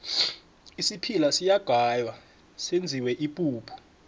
isiphila siyagaywa senziwe ipuphu